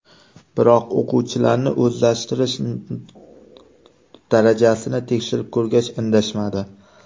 Biroq o‘quvchilarning o‘zlashtirish darajasini tekshirib ko‘rgach, indashmadi.